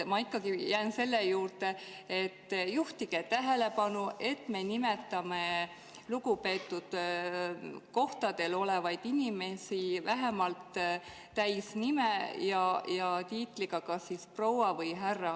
Ma jään selle juurde, et juhtige tähelepanu, et me nimetame lugupeetud kohtadel olevaid inimesi vähemalt täisnime ja tiitliga "proua" või "härra".